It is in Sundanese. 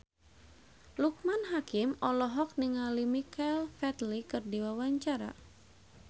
Loekman Hakim olohok ningali Michael Flatley keur diwawancara